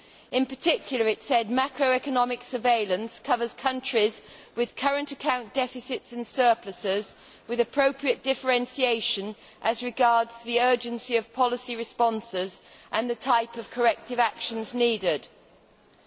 In particular, it said macroeconomic surveillance covers countries with current account deficits and surpluses, with appropriate differentiation as regards the urgency of policy responses and the type of corrective actions required'.